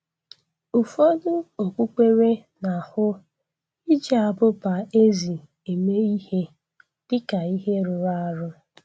Ụfọdụ okpukpere na-ahụ iji abụba ezi eme ihe dịka ihe rụrụ arụ